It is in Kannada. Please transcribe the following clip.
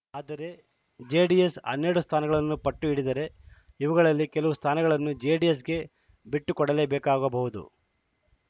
ಆದರೆ ಜೆಡಿಎಸ್‌ ಹನ್ನೆರಡು ಸ್ಥಾನಗಳಿಗೆ ಪಟ್ಟು ಹಿಡಿದರೆ ಇವುಗಳಲ್ಲಿ ಕೆಲವು ಸ್ಥಾನಗಳನ್ನು ಜೆಡಿಎಸ್‌ಗೆ ಬಿಟ್ಟುಕೊಡಲೇಬೇಕಾಗಬಹುದು